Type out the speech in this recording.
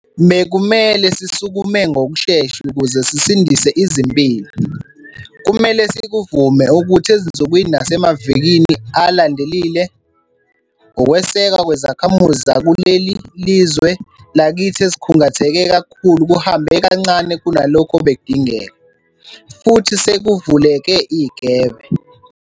Bekumele sisukume ngokushesha ukuze sisindise izimpilo. Kumele sikuvume ukuthi ezinsukwini nasemavikini alandelile, ukwesekwa kwezakhamuzi zakule lizwe lakithi ezikhungatheke kakhulu kuhambe kancane kunalokho obekudingeka, futhi sekuvuleke igebe.